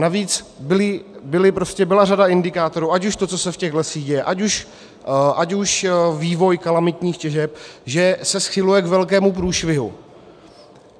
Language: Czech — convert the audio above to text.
Navíc byla řada indikátorů - ať už to, co se v těch lesích děje, ať už vývoj kalamitních těžeb - že se schyluje k velkému průšvihu.